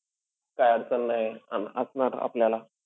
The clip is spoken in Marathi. काई अडचण नाई अन असणार आपल्याला.